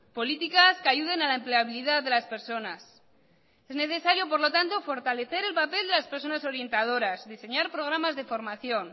políticas que ayuden a la empleabilidad de las personas es necesario por lo tanto fortalecer el papel de las personas orientadoras diseñar programas de formación